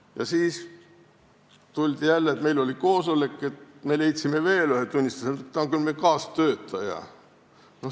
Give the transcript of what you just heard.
Ja siis tuldi jälle selle jutuga, et oli koosolek ja leidsime veel ühe tunnistaja, kes on küll meie kaastöötaja.